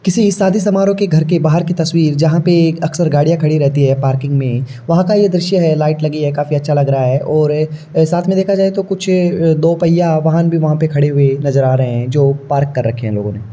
किसी शादी समारोह के घर के बाहर की तस्वीर जहाँ पे एक अक्सर गाडिया खड़ी रहती है पार्किंग में वहां का ये दृश्य है। लाईट लगी है काफी अच्छा लग रहा है और साथ में देखा जाए तो कुछ दो पहिया वाहन भी वहां पे खड़े हुए नजर आ रहे हैं जो पार्क कर रखे हैं लोगो ने।